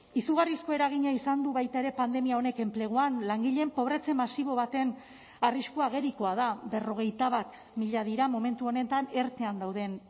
izugarrizko eragina izan du baita ere pandemia honek enpleguan langileen pobretze masibo baten arrisku agerikoa da berrogeita bat mila dira momentu honetan ertean dauden